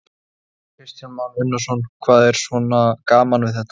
Kristján Már Unnarsson: Hvað er svona gaman við þetta?